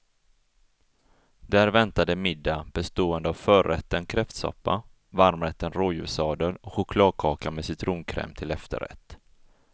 Där väntade middag bestående av förrätten kräftsoppa, varmrätten rådjurssadel och chokladkaka med citronkräm till efterrätt.